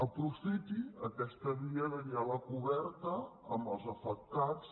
aprofiti aquesta via de diàleg oberta amb els afectats